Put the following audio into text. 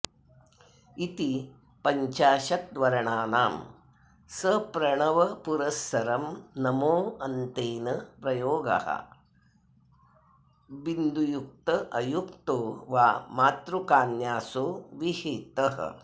इति पञ्चाशद्वर्णानां सप्रणवपुरःसरं नमोऽन्तेन प्रयोगः विन्दुयुक्त अयुक्तो वा मातृकान्यासो विहितः